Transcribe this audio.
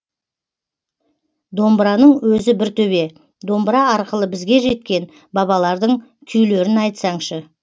домбыраның өзі бір төбе домбыра арқылы бізге жеткен бабалардың күйлерін айтсаңшы